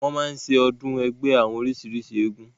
wọ́n máa ń ṣe ọdún ẹgbẹ́ àwọn oríṣìrísìí eégún